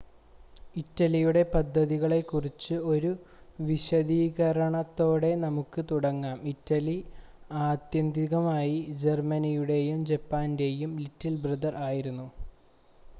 "ഇറ്റലിയുടെ പദ്ധതികളെക്കുറിച്ച് ഒരു വിശദീകരണത്തോടെ നമുക്ക് തുടങ്ങാം.ഇറ്റലി ആത്യന്തികമായി ജർമ്മനിയുടെയും ജപ്പാന്റെയും "ലിറ്റിൽ ബ്രദർ" ആയിരുന്നു.